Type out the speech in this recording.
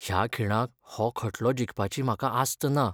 ह्या खिणाक हो खटलो जिखपाची म्हाका आस्त ना.